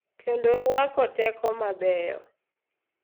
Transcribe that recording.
Kendo rwako teko mabeyo.